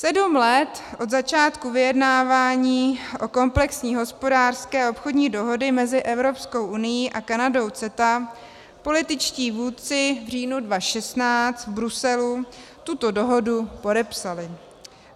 Sedm let od začátku vyjednávání o komplexní hospodářské a obchodní dohodě mezi Evropskou unií a Kanadou, CETA, političtí vůdci v říjnu 2016 v Bruselu tuto dohodu podepsali.